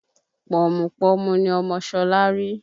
Pọ̀mùpọ̀mù ni ọmọ Ṣọlá rí